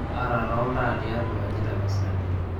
taara taa oltaa tiatwa oaaji tapasali